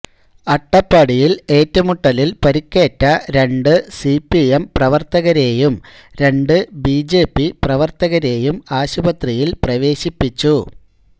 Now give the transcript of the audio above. അട്ടപ്പാടിയില് ഏറ്റുമുട്ടലില് പരുക്കേറ്റ രണ്ട് സിപിഎം പ്രവര്ത്തകരേയും രണ്ട് ബിജെപി പ്രവര്ത്തകരേയും ആശുപത്രിയില് പ്രവേശിപ്പിച്ചു